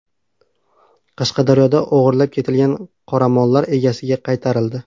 Qashqadaryoda o‘g‘irlab ketilgan qoramollar egasiga qaytarildi.